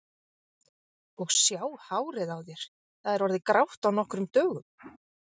Og sjá hárið á þér, það er orðið grátt á nokkrum dögum.